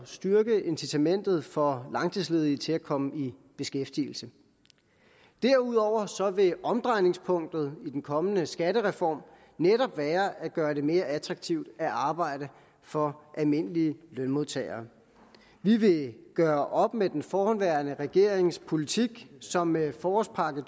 styrke incitamentet for langtidsledige til at komme i beskæftigelse derudover vil omdrejningspunktet i den kommende skattereform netop være at gøre det mere attraktivt at arbejde for almindelige lønmodtagere vi vil gøre op med den forhenværende regerings politik som med forårspakke